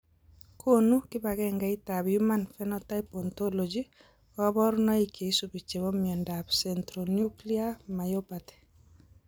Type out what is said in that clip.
Konu kibagengeitab Human Phenotype Ontology kaborunoik cheisubi chebo miondop Centronuclear myopathy.